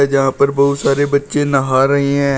जहां पर बहोत सारे बच्चे नहा रही हैं।